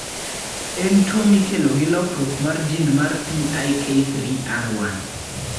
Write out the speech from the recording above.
En tuwo mikelo gi lokruok mar gene mar PIK3R1.